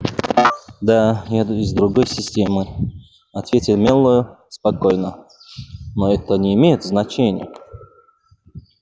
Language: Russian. да я из другой системы ответил мэллоу спокойно но это не имеет значения